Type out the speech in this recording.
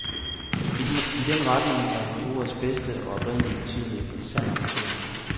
I den retning er han i ordets bedste og oprindelig betydning en sand amatør.